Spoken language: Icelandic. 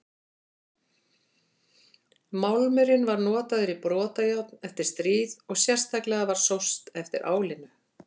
Málmurinn var notaður í brotajárn eftir stríð og sérstaklega var sóst eftir álinu.